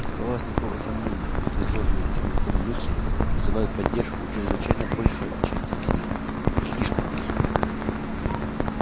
не оставалось никакого сомнения что изложенные сермаком мысли вызывают поддержку у чрезвычайно большой части населения слишком большой